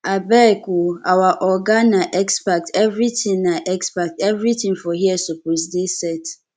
abeg o our oga na expert everytin na expert everytin for here suppose dey set